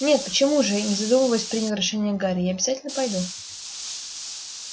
нет почему же не задумываясь принял решение гарри я обязательно пойду